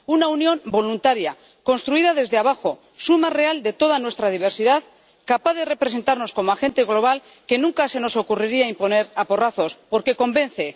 una unión voluntaria, construida desde abajo, suma real de toda nuestra diversidad, capaz de representarnos como agente global, que nunca se nos ocurriría imponer a porrazos, porque convence.